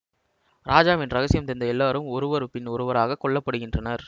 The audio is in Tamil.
ராஜாவின் ரகசியம் தெரிந்த எல்லாரும் ஒருவர் பின் ஒருவராக கொல்லப்படுகின்றனர்